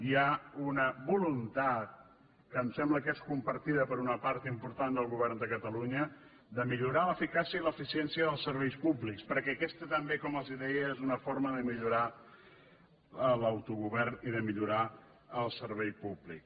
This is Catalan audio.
hi ha una voluntat que em sembla que és comparti·da per una part important del govern de catalunya de millorar l’eficàcia i l’eficiència dels serveis públics per·què aquesta també com els deia és una forma de mi·llorar l’autogovern i de millorar el servei públic